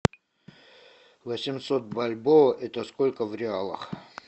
восемьсот бальбоа это сколько в реалах